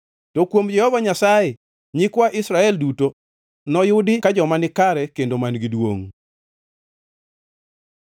To kuom Jehova Nyasaye, nyikwa Israel duto noyudi ka joma nikare kendo man-gi duongʼ.